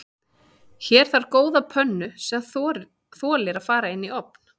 Hér þarf góða pönnu sem þolir að fara inn í ofn.